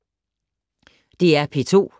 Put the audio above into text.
DR P2